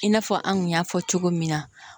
I n'a fɔ an kun y'a fɔ cogo min na